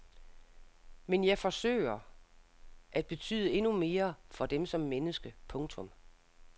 Men jeg forsøger at betyde endnu mere for dem som menneske. punktum